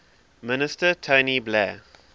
minister tony blair